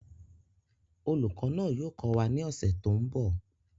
Olùkọ́ náà yóò kọ́ wa ní ọ̀sẹ̀ tó ń bọ̀